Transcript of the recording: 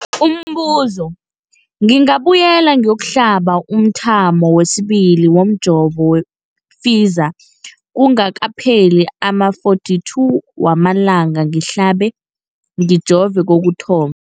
Umbuzo, ngingabuyela ngiyokuhlaba umthamo wesibili womjovo we-Pfizer kungakapheli ama-42 wamalanga ngihlabe, ngijove kokuthoma.